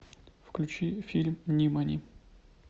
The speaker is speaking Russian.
включи фильм нимани